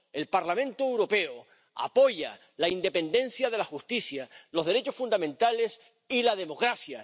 El Parlamento Europeo apoya la independencia de la justicia, los derechos fundamentales y la democracia.